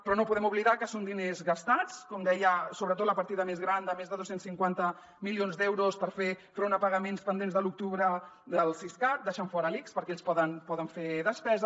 però no podem oblidar que són diners gastats com deia sobretot la partida més gran de més de dos cents i cinquanta milions d’euros per fer front a pagaments pendents de l’octubre del siscat deixant fora l’ics perquè ells poden fer despesa